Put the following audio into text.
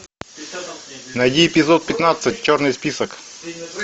найди эпизод пятнадцать черный список